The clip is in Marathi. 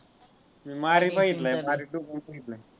मी मारी बघितलाय मारी two पण बघितलाय.